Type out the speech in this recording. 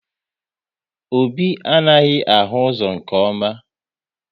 Obi anaghị ahụ ụzọ nke ọma